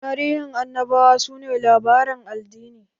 Tarihin Annabawa su ne labaren addini.